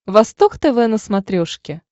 восток тв на смотрешке